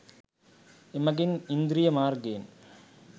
එමගින් ඉන්ද්‍රිය මාර්ගයෙන්